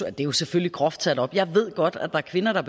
er jo selvfølgelig groft sat op jeg ved godt at der er kvinder der